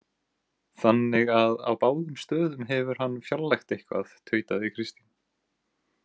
Þannig að á báðum stöðum hefur hann fjarlægt eitthvað, tautaði Kristín.